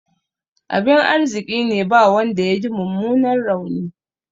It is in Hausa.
Abin arziƙine ba wanda yaji mummunan rauni.